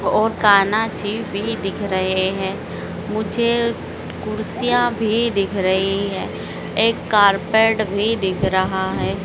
और कान्हा जी भी दिख रहे हैं मुझे कुर्सियां भी दिख रही है एक कारपेट भी दिख रहा है।